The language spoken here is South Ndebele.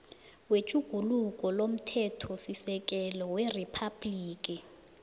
wetjhuguluko lomthethosisekelo weriphabhligi